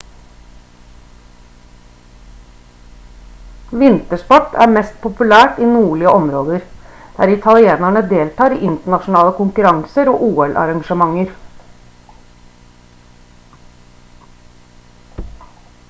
vintersport er mest populært i nordlige områder der italienere deltar i internasjonale konkurranser og ol-arrangementer